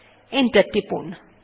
enter টিপুন